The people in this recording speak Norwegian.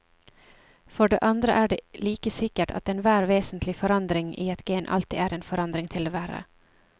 For det andre er det like sikkert at enhver vesentlig forandring i et gen alltid er en forandring til det verre.